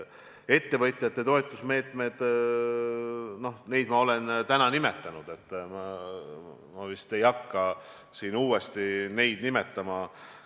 Ettevõtjate toetamise meetmeid ma olen täna nimetanud ja vist ei hakka neid uuesti nimetama.